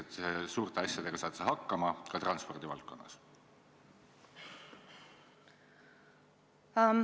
Kas loodad suurte asjadega hakkama saada, ka transpordi valdkonnas?